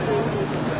Səkkiz yüz.